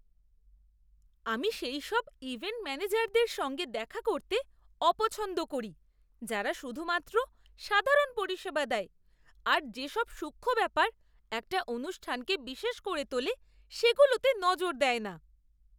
আমি সেইসব ইভেন্ট ম্যানেজারদের সঙ্গে দেখা করতে অপছন্দ করি যারা শুধুমাত্র সাধারণ পরিষেবা দেয় আর যে সব সূক্ষ্ম ব্যাপার একটা অনুষ্ঠানকে বিশেষ করে তোলে সেগুলোতে নজর দেয় না।